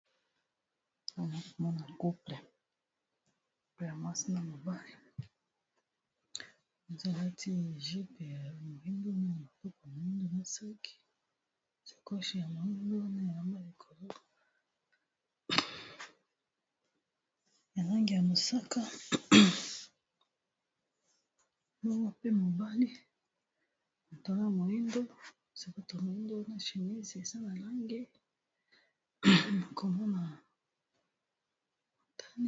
nana komona couplepeya mwasena mobali ezalati gype ya moindo wana ya motuku ya moindo na saki sekoshi ya moindo wana elamba likolo e lange ya mosaka pe mobali motongo ya moindo sebto moindo na ghinese ezana lange na komona a matani